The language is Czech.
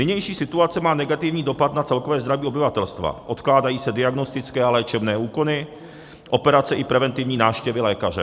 Nynější situace má negativní dopad na celkové zdraví obyvatelstva - odkládají se diagnostické a léčebné úkony, operace i preventivní návštěvy lékaře.